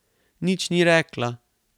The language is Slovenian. Nič ni rekla.